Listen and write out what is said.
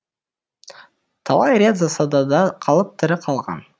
талай рет засадада қалып тірі қалған